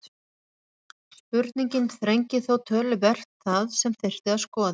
Spurningin þrengir þó töluvert það sem þyrfti að skoða.